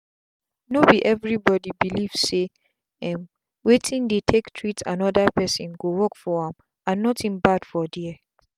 no be everybody belief say um wetin dey take treat another person go work for am and nothing bad for there.